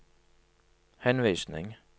henvisning